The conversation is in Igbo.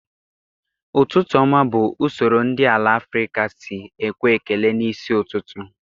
Ụtụtụ ọma bụ usoro ndị ala Afrịka sị ekwe ekele na isi ụtụtụ